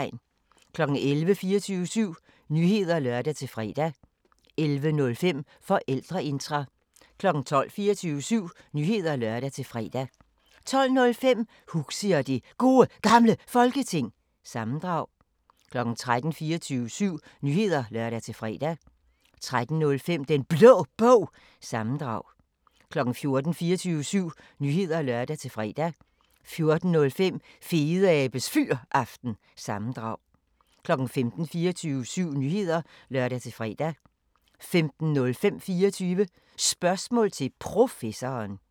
11:00: 24syv Nyheder (lør-fre) 11:05: Forældreintra 12:00: 24syv Nyheder (lør-fre) 12:05: Huxi og det Gode Gamle Folketing – sammendrag 13:00: 24syv Nyheder (lør-fre) 13:05: Den Blå Bog – sammendrag 14:00: 24syv Nyheder (lør-fre) 14:05: Fedeabes Fyraften – sammendrag 15:00: 24syv Nyheder (lør-fre) 15:05: 24 Spørgsmål til Professoren